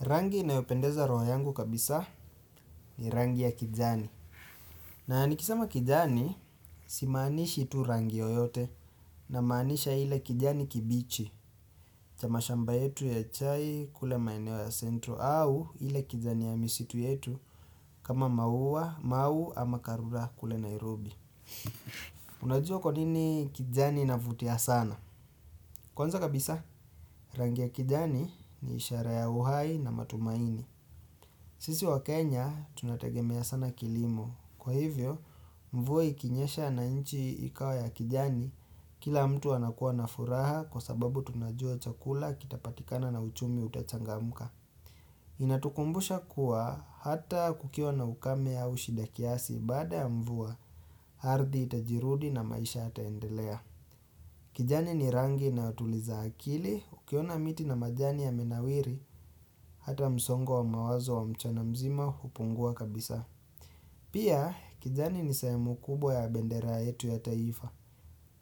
Rangi inayopendeza roho yangu kabisa ni rangi ya kijani. Na nikisema kijani simaanishi tu rangi yoyote namaanisha ile kijani kibichi. Cha mashamba yetu ya chai kule maeneo ya sentro au ile kijani ya misitu yetu kama maua, mau ama karura kule Nairobi. Unajua kwa nini kijani inavutia sana? Kwanza kabisa rangi ya kijani ni ishara ya uhai na matumaini. Sisi waKenya, tunategemea sana kilimo. Kwa hivyo, mvua ikinyesha na inchi ikawa ya kijani, kila mtu anakuwa na furaha kwa sababu tunajua chakula kitapatikana na uchumi utachangamka. Inatukumbusha kuwa ata kukiwa na ukame au shida kiasi baada ya mvua, ardhi itajirudi na maisha yataendelea. Kijani ni rangi inayotuliza akili ukiona miti na majani yamenawiri ata msongo wa mawazo wa mchana mzima upungua kabisa. Pia kijani ni sehemu kubwa ya bendera yetu ya taifa.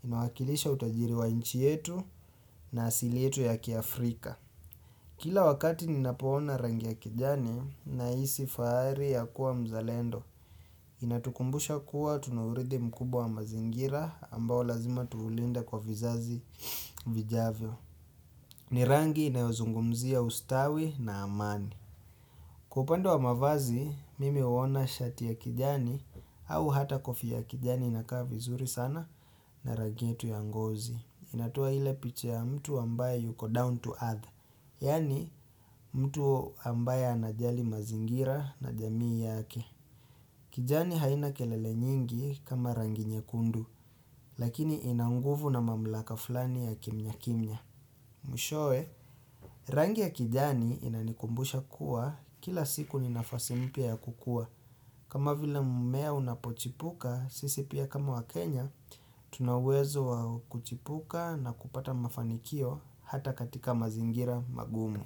Inawakilisha utajiri wa inchi yetu na asili yetu ya kiafrika. Kila wakati ninapoona rangi ya kijani nahisi fahari ya kuwa mzalendo. Inatukumbusha kuwa tunauridhi mkubwa wa mazingira ambao lazima tuulinde kwa vizazi vijavyo. Ni rangi inayozungumzia ustawi na amani. Kwa upande wa mavazi, mimi uona shati ya kijani au hata kofia ya kijani inakaa vizuri sana na rangi yetu ya ngozi. Inatoa ile picha ya mtu ambaye yuko down to earth. Yaani mtu ambaye anajali mazingira na jamii yake. Kijani haina kelele nyingi kama rangi nyekundu. Lakini ina nguvu na mamlaka fulani ya kimnya kimnya. Mwishowe, rangi ya kijani inanikumbusha kuwa kila siku ni nafasi mpya ya kukua. Kama vile mmea unapochipuka, sisi pia kama waKenya, tuna uwezo wa kuchipuka na kupata mafanikio ata katika mazingira magumu.